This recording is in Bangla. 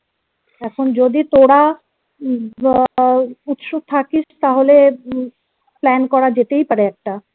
এখান যদি তোরা আহ উৎসুক থাকিস তাহলে plan করা যেতেই পারে একটা